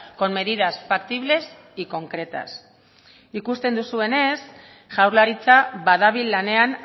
con medidas factibles y concretas ikusten duzuenez jaurlaritza badabil lanean